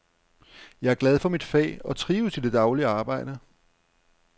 Jeg er glad for mit fag og trives i det daglige arbejde.